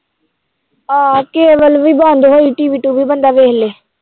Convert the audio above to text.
ਹਾਂ ਕੇਬਲ ਵੀ ਬੰਦ ਹੋਈ TV ਟੂਵੀ ਬੰਦਾ ਵੇਖ ਲਏ